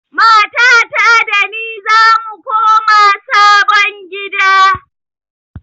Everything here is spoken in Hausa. Matata da ni zamu koma sabon gida.